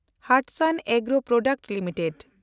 Hatsun Agro product limited